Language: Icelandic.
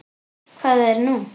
Hvað er nú?